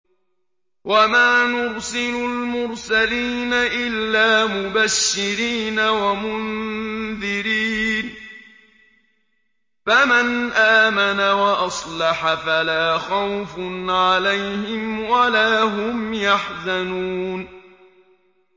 وَمَا نُرْسِلُ الْمُرْسَلِينَ إِلَّا مُبَشِّرِينَ وَمُنذِرِينَ ۖ فَمَنْ آمَنَ وَأَصْلَحَ فَلَا خَوْفٌ عَلَيْهِمْ وَلَا هُمْ يَحْزَنُونَ